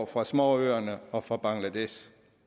fra småøerne og fra bangladesh